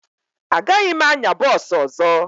Agaghị m anya bọọsụ ọzọ